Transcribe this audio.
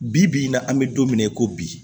Bi bi in na an bɛ don min na i ko bi